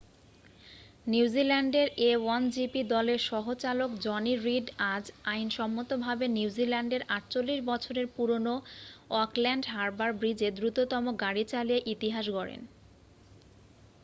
নিউজিল্যান্ডের a1gp দলের সহ-চালক জনি রিড আজ আইনসম্মতভাবে নিউজিল্যান্ডের 48 বছরের পুরনো অকল্যান্ড হারবার ব্রিজে দ্রুততম গাড়ি চালিয়ে ইতিহাস গড়েন